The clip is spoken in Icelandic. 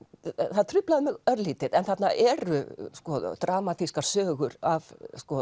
það truflaði mig örlítið en þarna eru sko dramatískar sögur af